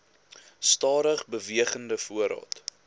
stadig bewegende voorraad